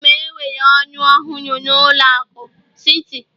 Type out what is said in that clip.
Aga m ewere ọrụ ọhụrụ na ụlọ akụ Citi